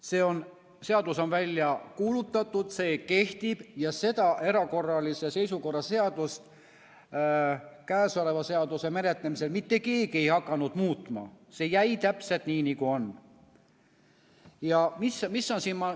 See seadus on välja kuulutatud, see kehtib ja seda erakorralise seisukorra seadust käesoleva seaduseelnõu menetlemisel mitte keegi ei hakanud muutma, see jäi täpselt nii, nagu on.